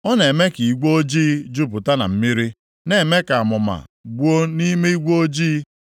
Ọ na-eme ka igwe ojii jupụta na mmiri; na-eme ka amụma gbuo nʼime igwe ojii.